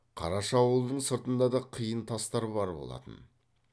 қараша аулының сыртында да қиын тастар бар болатын